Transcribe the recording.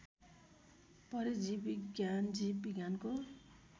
परजीवविज्ञान जीव विज्ञानको